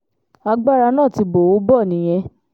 agbára náà ti bò ó bọ̀ nìyẹn